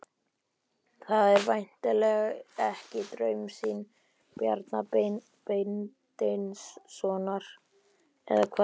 Það er væntanlega ekki draumsýn Bjarna Beinteinssonar, eða hvað?